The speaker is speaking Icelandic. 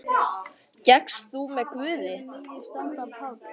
Gekkst þú með Guði.